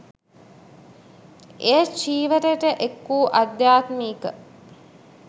එය චීවරයට එක්වූ අධ්‍යාත්මික